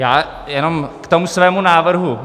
Já jenom k tomu svému návrhu.